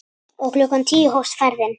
Og klukkan tíu hófst ferðin.